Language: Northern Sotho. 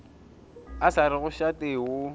a sa rego šate o